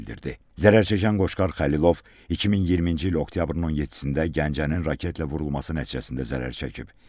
Zərər çəkən Qoşqar Xəlilov 2020-ci il oktyabrın 17-də Gəncənin raketlə vurulması nəticəsində zərər çəkib.